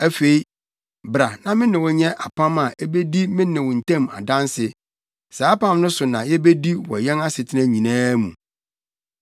Afei, bra na me ne wo nyɛ apam a ebedi me ne wo ntam adanse. Saa apam no so na yebedi wɔ yɛn asetena nyinaa mu.”